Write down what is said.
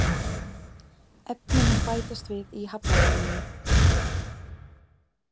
Efni mun bætast við í hafnarmynninu